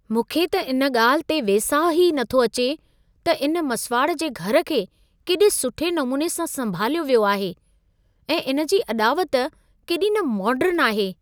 मूंखे त इन ॻाल्हि ते वेसाह ई नथो अचे त इन मसिवाड़ जे घर खे केॾे सुठे नमूने सां संभालियो वियो आहे ऐं इन जी अॾावत केॾी न मोडर्न आहे!